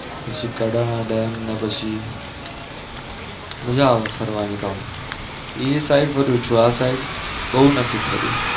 પછી કડા ડેમ ને પછી મજા આવે ફરવાની એમ એ side ફરું છું આ side બહુ નથી ફરિયો